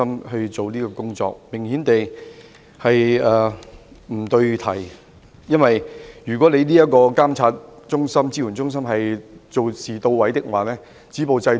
顯而易見，這是不對題的，因為如果監援中心的工作到位，理應早已能夠止暴制亂。